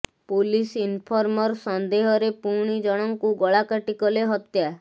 police informer ସନ୍ଦେହରେ ପୁଣି ଜଣଙ୍କୁ ଗଳା କାଟି କଲେ ହତ୍ୟା